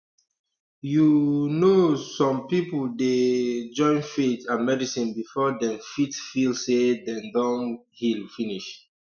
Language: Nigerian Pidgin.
you um know some people dey um join faith and medicine before dem fit feel say dem don heal finish